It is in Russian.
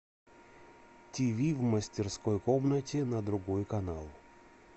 тиви в мастерской комнате на другой канал